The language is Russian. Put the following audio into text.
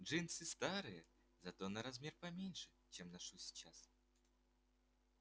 джинсы старые зато на размер поменьше чем ношу сейчас